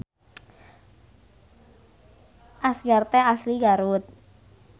Asgar teh asli Garut